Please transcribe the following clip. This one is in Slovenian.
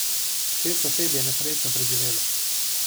Šest oseb je nesrečo preživelo.